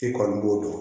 I kɔni b'o dɔn